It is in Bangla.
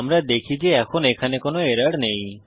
আমরা দেখি যে এখন এখানে কোনো এরর নেই